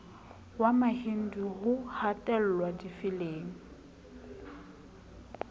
wa mahindu ho hatellwa difeleng